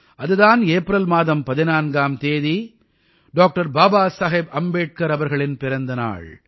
அது தான் ஏப்ரல் மாதம் 14ஆம் தேதி டாக்டர் பாபா சாஹேப் அம்பேட்கர் அவர்களின் பிறந்த நாள்